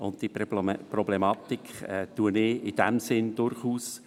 Diese Problematik anerkenne ich.